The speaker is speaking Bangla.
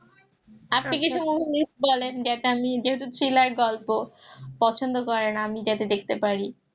আপনি কিছু movie list হবে বলেন যেটা আমি যেহেতু thriller গল্প পছন্দ করেন আমি যাতে দেখতে পারি